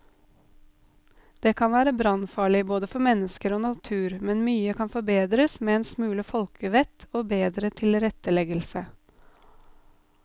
De kan være brannfarlige både for mennesker og natur, men mye kan forbedres med en smule folkevett og bedre tilretteleggelse.